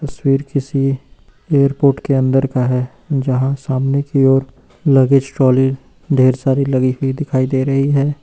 तस्वीर किसी एयरपोर्ट के अंदर का है यहां सामने की ओर लगेज ट्राली ढेर सारी लगी हुई दिखाई दे रही है।